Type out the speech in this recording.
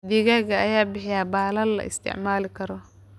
Digaagga ayaa bixiya baalal la isticmaali karo.